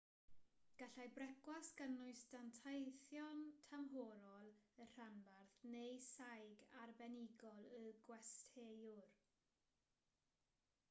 gallai brecwast gynnwys danteithion tymhorol y rhanbarth neu saig arbenigol y gwesteiwr